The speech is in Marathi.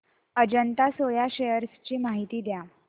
अजंता सोया शेअर्स ची माहिती द्या